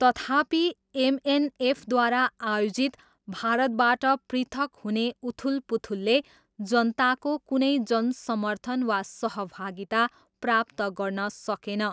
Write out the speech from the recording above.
तथापि, एमएनएफद्वारा आयोजित भारतबाट पृथक हुने उथलपुथलले जनताको कुनै जनसमर्थन वा सहभागिता प्राप्त गर्न सकेन।